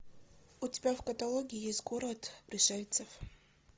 у тебя в каталоге есть город пришельцев